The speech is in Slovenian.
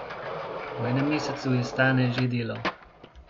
V enem mesecu je Stane že delal.